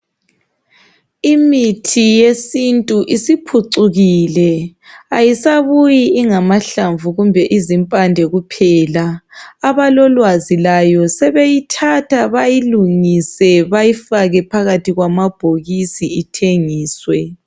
imithi yesintu isiphucukile ayisabuyi ingamahlamvu kumbe izimpande kuphela abalolwazi layo sebeyithatha bayilungise bayifake phakathi kwamabhokisi ithengiswe